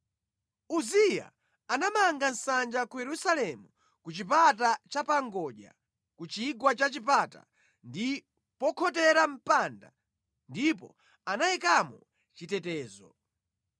Uziya anamanga nsanja ku Yerusalemu ku Chipata Chapangodya, ku Chigwa cha Chipata ndi pokhotera mpanda, ndipo anayikamo chitetezo.